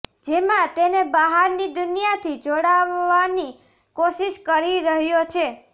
જેમાં તેને બહારની દુનિયાથી જોડાવવાની કોશિશ કરી રહ્યો છે